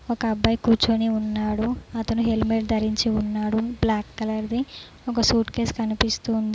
ఒక అబ్బాయి కూర్చొని ఉన్నాడు అతను హెల్మెట్ ధరించి ఉన్నాడు బ్లాక్ కలర్ ది ఒక సూట్ కేస్ కనిపిస్తుంది.